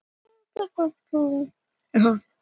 Bráðin er eðlisléttari en umhverfið og stígur upp á við.